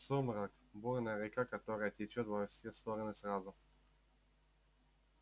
сумрак бурная река которая течёт во все стороны сразу